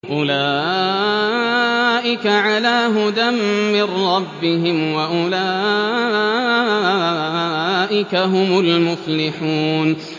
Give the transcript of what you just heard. أُولَٰئِكَ عَلَىٰ هُدًى مِّن رَّبِّهِمْ ۖ وَأُولَٰئِكَ هُمُ الْمُفْلِحُونَ